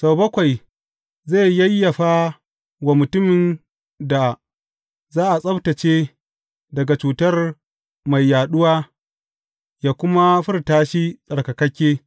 Sau bakwai zai yayyafa wa mutumin da za a tsabtacce daga cutar mai yaɗuwa ya kuma furta shi tsarkakakke.